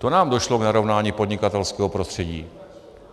To nám došlo k narovnání podnikatelského prostředí!